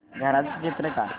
घराचं चित्र काढ